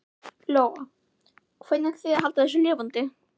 Lóa: Hvernig ætlið þið að halda þessu lifandi?